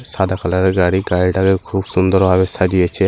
সাদা কালারের গাড়ি গাড়িটাকে খুব সুন্দর ভাবে সাজিয়েছে।